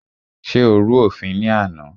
Ṣé o rú òfin ní àná?